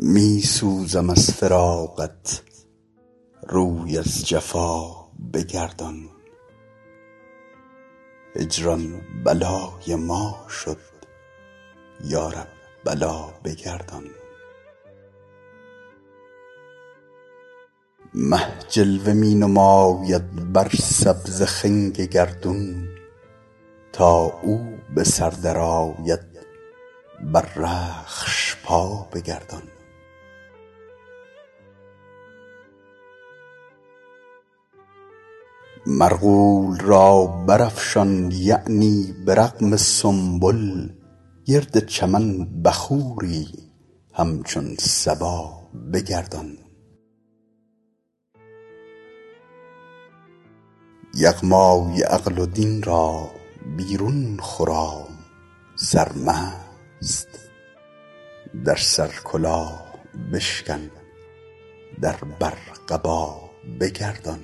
می سوزم از فراقت روی از جفا بگردان هجران بلای ما شد یا رب بلا بگردان مه جلوه می نماید بر سبز خنگ گردون تا او به سر درآید بر رخش پا بگردان مرغول را برافشان یعنی به رغم سنبل گرد چمن بخوری همچون صبا بگردان یغمای عقل و دین را بیرون خرام سرمست در سر کلاه بشکن در بر قبا بگردان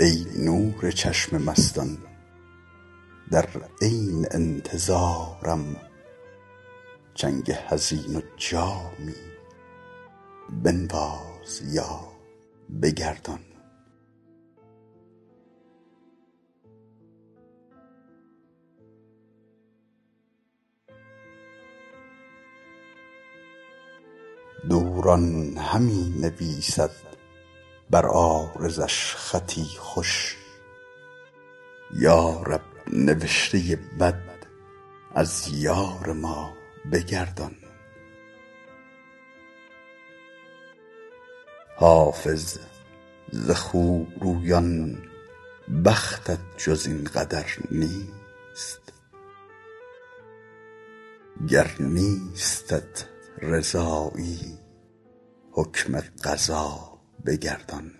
ای نور چشم مستان در عین انتظارم چنگ حزین و جامی بنواز یا بگردان دوران همی نویسد بر عارضش خطی خوش یا رب نوشته بد از یار ما بگردان حافظ ز خوبرویان بختت جز این قدر نیست گر نیستت رضایی حکم قضا بگردان